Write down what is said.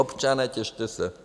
Občané, těšte se!